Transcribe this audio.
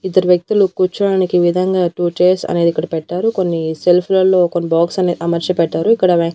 ఇద్దరు వ్యక్తులు కూర్చోడానికి విధంగా టూ చైర్స్ అనేది ఇక్కడ పెట్టారు కొన్ని షెల్ఫ్ లలో కొన్ని బాక్స్ అనేది అమర్చి పెట్టారు ఇక్కడ వే.